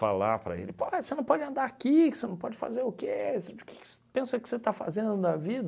Falar para ele, pô você não pode andar aqui, que você não pode fazer o que, o que que você pensa que você está fazendo da vida?